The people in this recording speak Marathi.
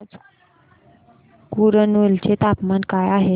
आज कुरनूल चे तापमान काय आहे